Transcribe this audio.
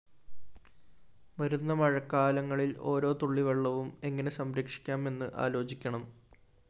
വരുന്ന മഴക്കാലങ്ങളില്‍ ഓരോ തുള്ളിവെള്ളവും എങ്ങിനെ സംരക്ഷിക്കാം എന്ന് ആലോചിക്കണം